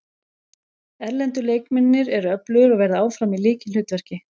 Erlendu leikmennirnir eru öflugir og verða áfram í lykilhlutverki.